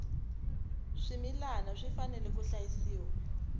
swimilana swi fanele swi hlayisiwa